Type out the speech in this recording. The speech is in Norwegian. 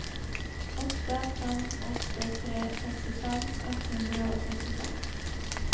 åtte fem åtte tre sekstifem ett hundre og førtiseks